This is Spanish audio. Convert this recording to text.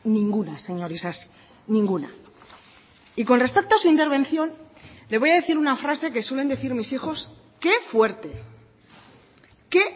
ninguna señor isasi ninguna y con respecto a su intervención le voy a decir una frase que suelen decir mis hijos qué fuerte qué